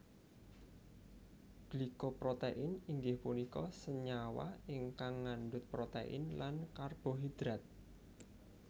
Glyco protein inggih punika senyawa ingkang ngandut protein lan karbohidrat